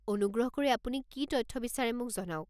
অনুগ্ৰহ কৰি আপুনি কি তথ্য বিচাৰে মোক জনাওক।